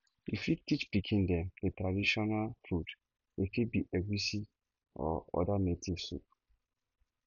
you fit teach pikin dem the traditional food e fit be egusi or oda native soup